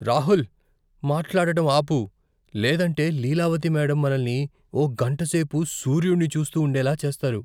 రాహుల్! మాట్లాడటం ఆపు, లేదంటే లీలావతి మేడమ్ మనల్ని ఓ గంట సేపు సూర్యుడిని చూస్తూ ఉండేలా చేస్తారు.